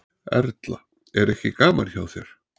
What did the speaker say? Erla: Er ekki gaman hjá þér?